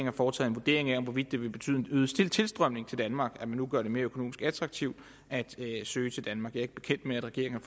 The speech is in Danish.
har foretaget vurdering af om det vil betyde en øget tilstrømning til danmark at man nu gør det mere økonomisk attraktivt at søge til danmark jeg er ikke bekendt med at regeringen